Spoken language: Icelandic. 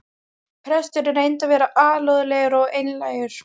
Presturinn reyndi að vera alúðlegur og einlægur.